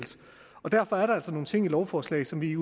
derfor er der altså nogle ting i lovforslaget som vi